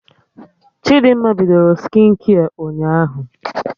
Chidimma bidoro skịnkia ụnyaahụ